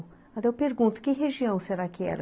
Até eu pergunto, que região será que era?